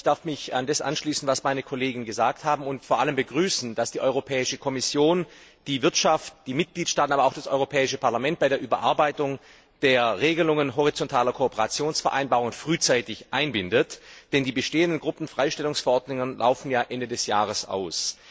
Ich darf mich an das anschließen, was meine Kollegen gesagt haben und vor allem begrüßen, dass die Europäische Kommission die Wirtschaft, die Mitgliedstaaten, aber auch das Europäische Parlament bei der Überarbeitung der Regelungen horizontaler Kooperationsvereinbarungen frühzeitig einbindet, denn die bestehenden Gruppenfreistellungsverordnungen laufen ja Ende des Jahres aus.